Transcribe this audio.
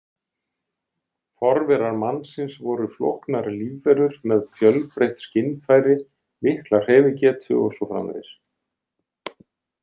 Forverar mannsins voru flóknar lífverur með fjölbreytt skynfæri, mikla hreyfigetu og svo framvegis.